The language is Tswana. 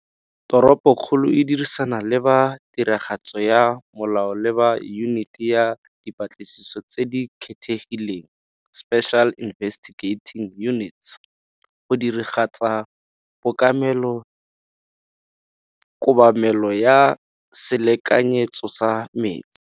Toropokgolo e dirisana le ba tiragatso ya molao le ba Yuniti ya Dipatlisiso tse di Kgethegileng Special Investigating Unit go diragatsa kobamelo ya selekanyetso sa metsi.